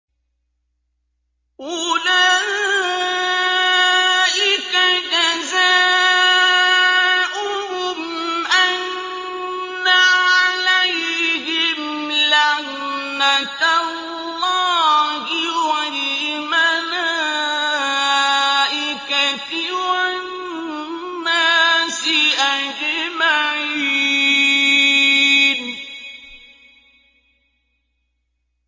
أُولَٰئِكَ جَزَاؤُهُمْ أَنَّ عَلَيْهِمْ لَعْنَةَ اللَّهِ وَالْمَلَائِكَةِ وَالنَّاسِ أَجْمَعِينَ